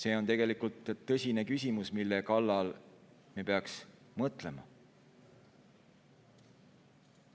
See on tegelikult tõsine küsimus, millele me peaksime mõtlema.